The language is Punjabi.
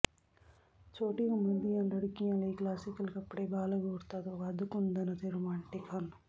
ਛੋਟੀ ਉਮਰ ਦੀਆਂ ਲੜਕੀਆਂ ਲਈ ਕਲਾਸੀਕਲ ਕੱਪੜੇ ਬਾਲਗ ਔਰਤਾਂ ਤੋਂ ਵੱਧ ਕੁੰਦਨ ਅਤੇ ਰੋਮਾਂਟਿਕ ਹਨ